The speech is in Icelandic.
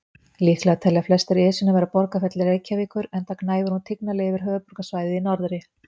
Líklegast telja flestir Esjuna vera borgarfjall Reykjavíkur, enda gnæfir hún tignarlega yfir höfuðborgarsvæðið í norðri.